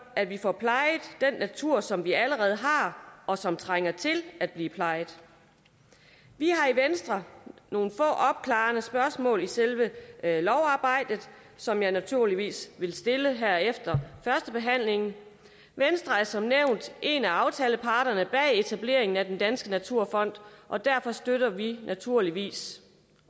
at vi får plejet den natur som vi allerede har og som trænger til at blive plejet vi har i venstre nogle få opklarende spørgsmål i selve lovarbejdet som jeg naturligvis vil stille her efter førstebehandlingen venstre er som nævnt en af aftaleparterne bag etableringen af den danske naturfond og derfor støtter vi naturligvis